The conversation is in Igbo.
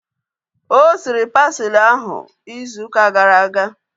O siri pasili ahu izu ụka gara aga